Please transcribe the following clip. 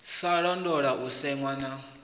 sa londola u sema na